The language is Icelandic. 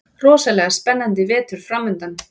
Rosalega spennandi vetur framundan